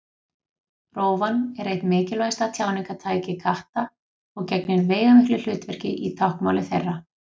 Rófan er eitt mikilvægasta tjáningartæki katta og gegnir veigamiklu hlutverki í táknmáli þeirra.